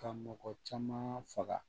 Ka mɔgɔ caman faga